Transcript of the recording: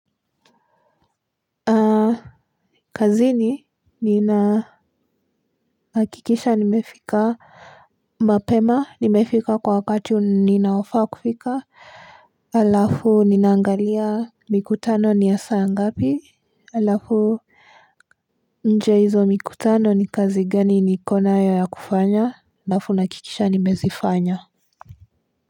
Kazini ninahakikisha nimefika mapema, nimefika kwa wakati ninaofaa kufika alafu ninaangalia mikutano ni ya saa ngapi alafu nje ya hizo mikutano ni kazi gani niko nayo ya kufanya alafu nahakikisha nimezifanya.